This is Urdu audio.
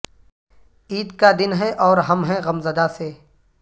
عید کا دن ہے اور ہم ہیں غمزدہ سے